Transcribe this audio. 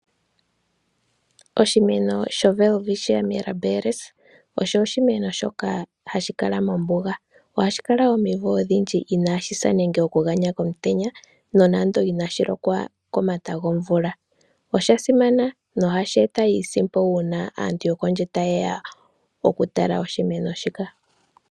Oshimeno shoWelwitschia Mirabilis osho oshimeno shoka hashi kala mombuga, ohashi kala omivo odhindji inashi sa nenge okuganya komutenya nonando inashi lokwa komata gomvula. Osha simana na ohashi eta iisimpo uuna aantu yokondje taye ya okutala oshimeno shika.